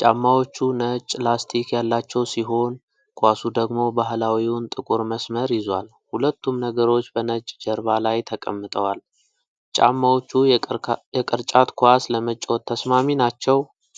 ጫማዎቹ ነጭ ላስቲክ ያላቸው ሲሆን፣ ኳሱ ደግሞ ባህላዊውን ጥቁር መስመር ይዟል። ሁለቱም ነገሮች በነጭ ጀርባ ላይ ተቀምጠዋል። ጫማዎቹ የቅርጫት ኳስ ለመጫወት ተስማሚ ናቸው?